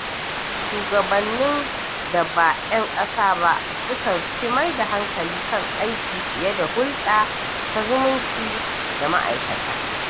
Shugabannin da ba 'yan ƙasa ba sukan fi maida hankali kan aiki fiye da hulɗa ta zumunci da ma’aikata.